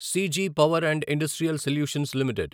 CG power and industrial solutions limited